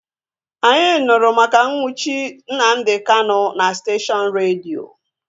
Anyị nụrụ maka nnwuchi Nnamdi Kanu na steshọnụ redio